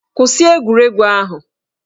Kwụsị egwuregwu ahụ!